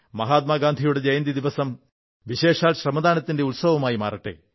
മഹാത്മാഗാന്ധിയുടെ ജയന്തിയുടെ ദിവസം വിശേഷാൽ ശ്രമദാനത്തിന്റെ ഉത്സവമായി മാറട്ടെ